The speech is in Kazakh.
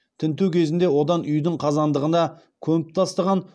тінту кезінде одан үйдің қазандығына көміп тастаған